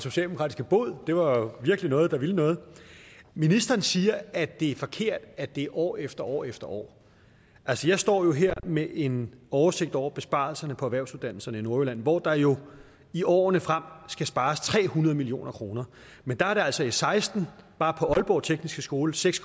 socialdemokratiske bod det var jo virkelig noget der ville noget ministeren siger at det er forkert at det er år efter år efter år altså jeg står her med en oversigt over besparelserne på erhvervsuddannelserne i nordjylland hvor der jo i årene frem skal spares tre hundrede million kroner men der er det altså i seksten bare på aalborg tekniske skole seks